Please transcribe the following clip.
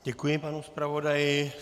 Děkuji panu zpravodaji.